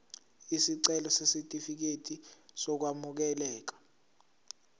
isicelo sesitifikedi sokwamukeleka